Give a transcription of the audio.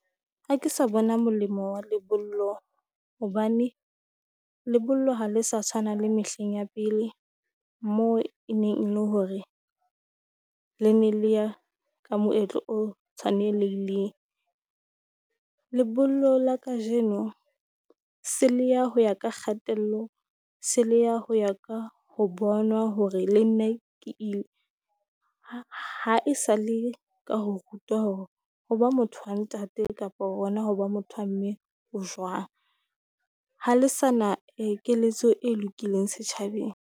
Ha ke sa bona molemo wa lebollo, hobane lebollo ha le sa tshwana le mehleng ya pele moo e neng le hore le ne le ya ka moetlo o tshwanelehileng. Lebollo la kajeno se le ya ho ya ka kgatello, se le ya ho ya ka ho bonwa hore le nna ke ha e sa le ka ho rutwa hore hoba motho wa ntate kapa hona hoba motho wa mme ho jwang. Ha le sa na keletso e lokileng setjhabeng.